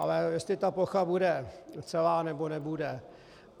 Ale jestli ta plocha bude celá, nebo nebude.